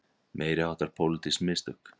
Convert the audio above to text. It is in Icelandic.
Meiriháttar pólitísk mistök